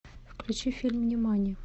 включи фильм нимани